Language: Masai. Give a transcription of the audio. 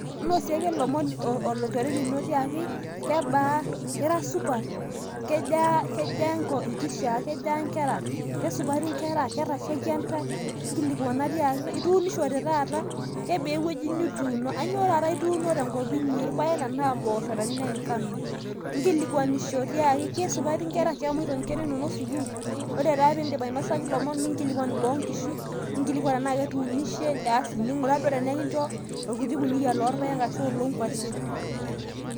inosie ake ilomon olchore lino tiaki, kebaa ira supat, kejaa kejaa enkishaa kejaa nkera, kesupati nkera ketashaikia ntae, nkilikuana sii tiaki, ituunishote taata, kebaa ewueji nituuno, kainyioo taata ituuno tenkop inyi, irpaek tenaa mpoosho tenaa enkano. inkilikuanisho tiaki kisupati nkera, keshomoito nkera inonok sukuul. ore taa pee idip ainosaki ilomon ning'uraa duo tenaa ekincho orkuniyia loo nkwashen.